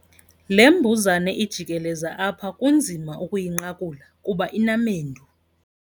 Le mbuzane ijikeleza apha kunzima ukuyinqakula kuba inamendu.